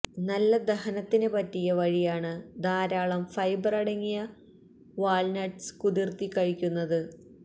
നല്ല ദഹനത്തിന് പറ്റിയ വഴിയാണ് ധാരാളം ഫൈബറടങ്ങിയ വാള്നട്സ് കുതിര്ത്തി കഴിയ്ക്കുന്നത്